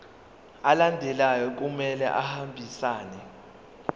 alandelayo kumele ahambisane